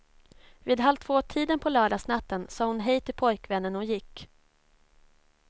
Vid halvtvåtiden på lördagsnatten sa hon hej till pojkvännen och gick.